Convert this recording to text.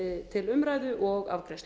til umræðu og afgreiðslu